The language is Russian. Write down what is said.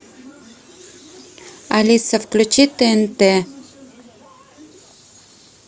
алиса включи тнт